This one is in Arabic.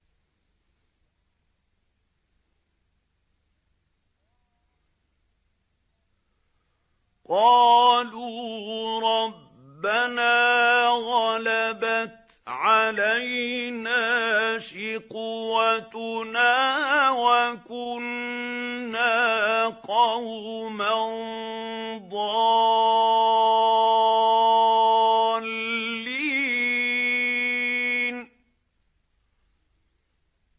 قَالُوا رَبَّنَا غَلَبَتْ عَلَيْنَا شِقْوَتُنَا وَكُنَّا قَوْمًا ضَالِّينَ